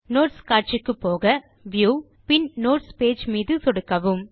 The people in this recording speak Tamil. நோட்ஸ் காட்சிக்கு போக முறையே வியூ நோட்ஸ் பேஜ் மீது சொடுக்கவும்